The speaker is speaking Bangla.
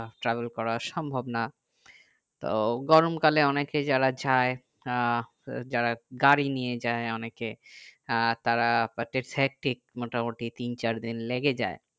travel করা সম্ভব নয় তো গরম কালে অনেকে যারা যাই আহ যারা গাড়ি নিয়ে যাই অনেকে আহ তারা সেকটিক মোটামুটি তিন চার দিন লেগে যাই